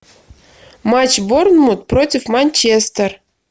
матч борнмут против манчестер